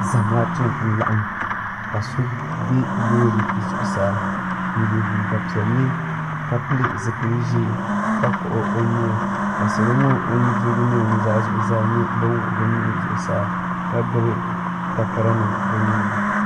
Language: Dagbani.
zamaatu n lagim ma sobɛ lori zuɣ' saa n yɛ liga piɛli ka pɛli zibili ʒiɛ ka kpagi o nuu salo ŋɔ nuudirigu ni nuuzaa niriba maa zaa nyɛla ban wuɣ' be nuhi zuɣ saa ka gbabi takari nim be nuuni